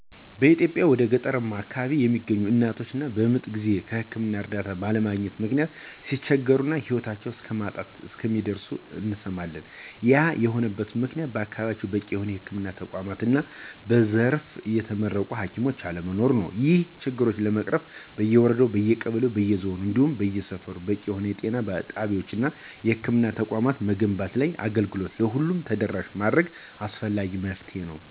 በኢትዮጵያ ወደ ገጠርማው አከባቢ የሚገኙ እናቶች በምጥ ጊዜ የህክምና እርዳታ ባለማግኘት ምክንያት ሲቸገሩ እና ሂወታቸው እስከማጣት እንደሚደርሱ እንሰማለን። ያም የሆነበት ምክንያት በአከባቢያቸው በቂ የሆነ የህክምና ተቋማት እና በዘርፉ የተመረቁ ሀኪሞች አለመኖር ነው። ይህን ችግር ለመቅረፍ በየወረዳው፣ በየቀበሌው እና በየዞኑ እንዲሁም በየሰፈሩ በቂ የሆነ ጤና ጣቢያወች እና የህክምና ተቋማትን መገንባት እና አገልግሎቱን ለሁሉም ተደራሽ ማድረግ አስፈላጊ መፍትሄ ነው።